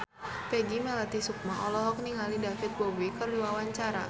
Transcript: Peggy Melati Sukma olohok ningali David Bowie keur diwawancara